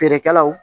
Feerekɛlaw